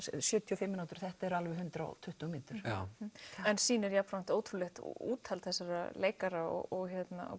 sjötíu og fimm mínútur þetta er alveg hundrað og tuttugu mínútur en sýnir er jafnframt ótrúlegt úthald þessara leikara og